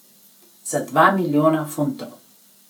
Za dva milijona funtov.